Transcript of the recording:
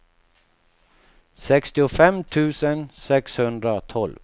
sextiofem tusen sexhundratolv